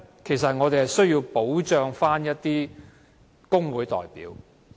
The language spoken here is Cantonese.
其實，我們想要保障的是工會代表。